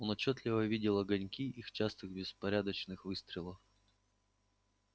он отчётливо видел огоньки их частых беспорядочных выстрелов